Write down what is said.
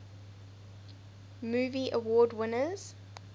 movie award winners